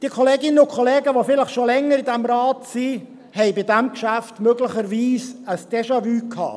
Jene Kolleginnen und Kollegen, die schon länger in diesem Rat sind, haben bei diesem Geschäft möglicherweise ein Déjà-vu.